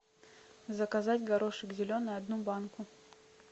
заказать горошек зеленый одну банку